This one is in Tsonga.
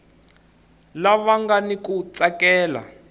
lava nga ni ku tsakela